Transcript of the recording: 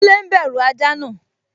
Kúnlé n bẹ̀rù ajá náà